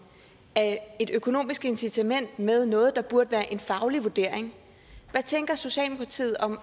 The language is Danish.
af et økonomisk incitament med noget der burde være en faglig vurdering hvad tænker socialdemokratiet om